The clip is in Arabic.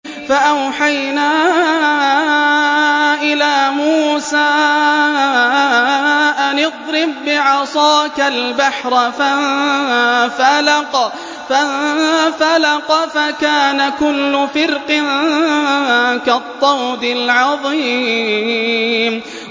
فَأَوْحَيْنَا إِلَىٰ مُوسَىٰ أَنِ اضْرِب بِّعَصَاكَ الْبَحْرَ ۖ فَانفَلَقَ فَكَانَ كُلُّ فِرْقٍ كَالطَّوْدِ الْعَظِيمِ